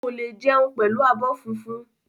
Ko le jẹun pẹlú abọ́ fúnfún.